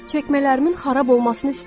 Çəkmələrimin xarab olmasını istəyirəm.